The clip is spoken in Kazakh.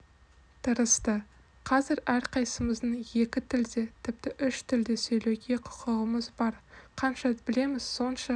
тырысты қазір әрқайсымыздың екі тілде тіпті үш тілде сөйлеуге құқығымыз бар қанша тіл білеміз сонша